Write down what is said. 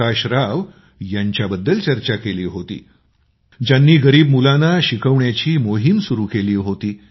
प्रकाश राव यांच्याबद्दल चर्चा केली होती ज्यांनी गरीब मुलांना शिकवण्याची मोहीम सुरु केली होती